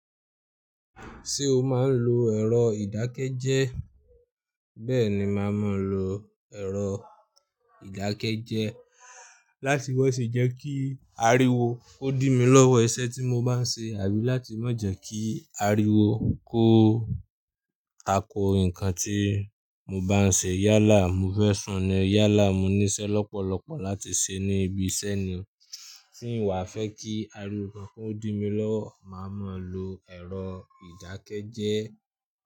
Ṣé o máa ń lo ẹ̀rọ ìdákẹ́jẹ́? Bẹ́ẹ̀ni, màá máa lo ẹ̀rọ ìdákẹ́jẹ́ láti má se jẹ́ kí ariwo kó dí mi lọ́wọ́ iṣẹ́ tí mo bá ń ṣe àbí láti má jẹ́ kí ariwo kó tako nǹkan tí mo bá ń ṣe. Yálà, mo fẹ́ sùn ni, yálà mo ní iṣẹ́ lọ́pọ̀lọpọ̀ láti ṣe ní ibi iṣẹ́ ni. Tí n wà fẹ́ kí ariwo kankan ó dí mi lọ́wọ́, màá máa lo ẹ̀rọ ìdákẹ́jẹ́.